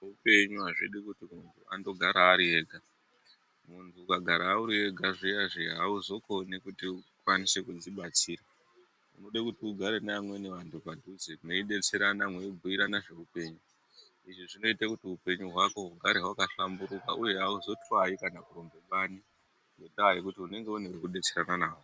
Zveupenyu azvidi kuti muntu andogara ari ega muntu ukagara uri ega zviya zviya hauzokoni kuti ukwanise kudzibatsira unode kuti ugare nevamweni vantu padhuze mweibetserana mweibhuirana zveupenyu. Izvi zvinoita kuti upenyu hwako hugare hwakahlamburuka uye hauzotwayi kana kurumbe bani ngendaa yekuti unenge une vekudetserana navo.